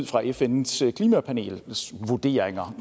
fra fns klimapanels vurderinger